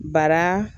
Bara